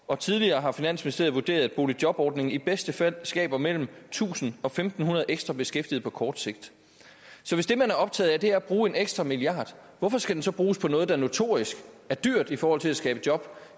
og tidligere har finansministeriet vurderet at boligjobordningen i bedste fald skaber mellem tusind og fem hundrede ekstra beskæftigede på kort sigt så hvis det man er optaget af er at bruge en ekstra milliard hvorfor skal den så bruges på noget der notorisk er dyrt i forhold til at skabe job